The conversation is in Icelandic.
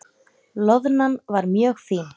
Loðnan var mjög fín.